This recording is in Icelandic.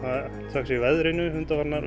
þökk sé veðrinu undanfarnar